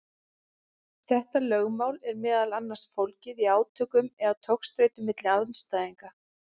Þetta lögmál er meðal annars fólgið í átökum eða togstreitu milli andstæðna.